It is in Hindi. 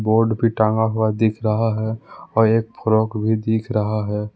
बोर्ड भी टांगा हुआ दिख रहा हैं और एक फ्रॉक भी दिख रहा हैं।